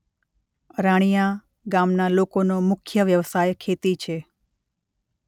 અરાણીયા ગામના લોકોનો મુખ્ય વ્યવસાય ખેતી છે.